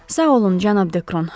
Sağ olun, cənab Dekron.